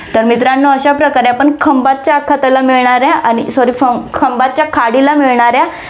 तर मित्रांनो अश्याप्रकारे आपण खंभातच्या आखाताला मिळणारे आणि sorry खंभ~ खंभातच्या खाडीला मिळणारे